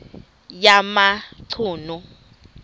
yamachunu